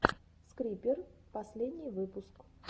скрипер последний выпуск